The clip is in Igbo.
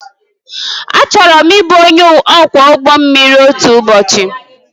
Achọrọ m ịbụ onye ọkwọ ụgbọ mmiri otu ụbọchị